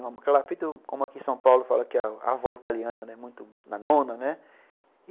Ela era feita, como aqui em São Paulo, fala que a avó italiana, muito na nona, né.